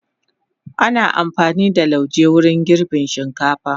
Ana amfani da lauje wajen girbin shinkafa.